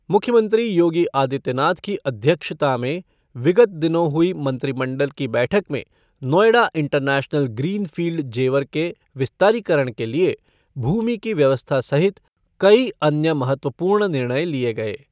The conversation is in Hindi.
मुख्यमंत्री योगी आदित्यनाथ की अध्यक्षता में विगत दिनों हुई मंत्रिमंडल की बैठक में Noida international green field Jewar के विस्तारीकरण के लिए भूमि की व्यवस्था सहित कई अन्य महत्वपूर्ण निर्णय लिये गये।